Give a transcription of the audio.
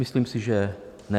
Myslím si, že ne.